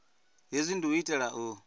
hezwi ndi u itela u